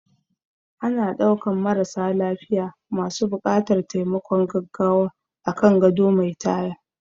Ana ɗaukan marasa lafiya masu buƙatar taimakon gaggawa akan gado mai taya